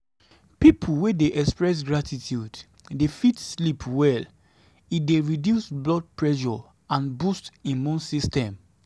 pipo wey de express gratitude de fit sleep well e de reduce blood pressure and boost immune system